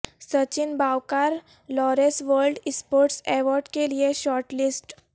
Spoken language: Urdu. سچن باوقار لاریس ورلڈ اسپورٹس ایوارڈ کے لئے شارٹ لسٹ